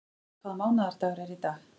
Bergfríður, hvaða mánaðardagur er í dag?